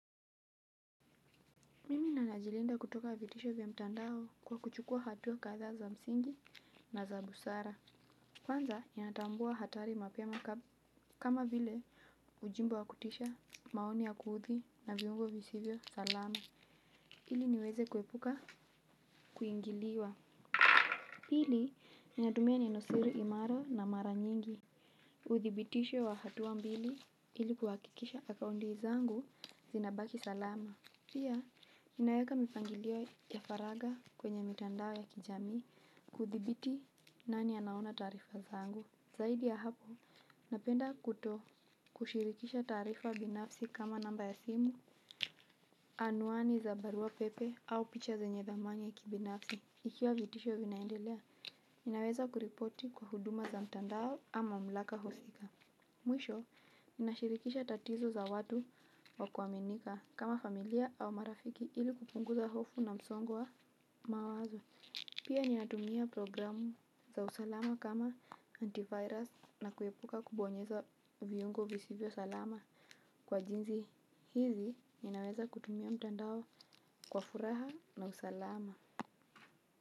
Mimi nanajilinda kutoka vitisho vya mtandao kwa kuchukua hatua kadhaa za msingi na za busara. Kwanza, ninatambua hatari mapema kama vile ujimbo wa kutisha maoni ya kuuthi na viungo visivyo salama. Hili niweze kuepuka kuingiliwa. Pili, ninatumia neno siri imara na mara nyingi. Uthibitisho wa hatua mbili ili kuhakikisha akaundi zangu zinabaki salama. Pia, ninaeka mipangilio ya faraga kwenye mitandao ya kijamii kuthibiti nani anaona tarifa zangu. Zaidi ya hapo, napenda kuto kushirikisha taarifa binafsi kama namba ya simu, anuani za barua pepe au picha zenye dhamani ya kibinafsi. Ikiwa vitisho vinaendelea, ninaweza kuripoti kwa huduma za mitandao ama mamlaka husika. Mwisho, ninashirikisha tatizo za watu wa kuaminika kama familia au marafiki ili kupunguza hofu na msongo wa mawazo. Pia ninatumia programu za usalama kama antivirus na kuepuka kubonyeza viungo visivyo salama. Kwa jinzi hizi, ninaweza kutumia mtandao kwa furaha na usalama.